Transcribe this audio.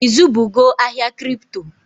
I zụbugo ahịa Kripto?